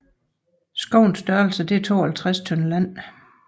Skovens størrelse er 52 tønder land